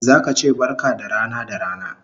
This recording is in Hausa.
Zaka che barka da rana da rana